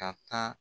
Ka taa